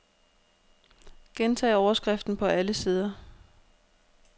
Gentag overskriften på alle sider.